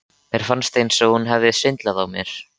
Mér fannst eins og hún hefði svindlað á mér.